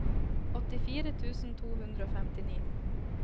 åttifire tusen to hundre og femtini